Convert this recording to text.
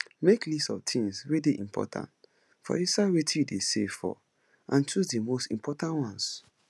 make list of things wey dey important for inside wetin you dey save for and choose di most important ones